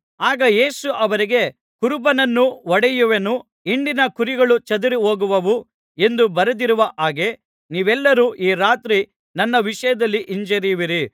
ಆಗ ಯೇಸು ಅವರಿಗೆ ಕುರುಬನನ್ನು ಹೊಡೆಯುವೆನು ಹಿಂಡಿನ ಕುರಿಗಳು ಚದರಿಹೋಗುವವು ಎಂದು ಬರೆದಿರುವ ಹಾಗೆ ನೀವೆಲ್ಲರೂ ಈ ರಾತ್ರಿ ನನ್ನ ವಿಷಯದಲ್ಲಿ ಹಿಂಜರಿಯುವಿರಿ